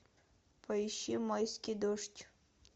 поищи майский дождь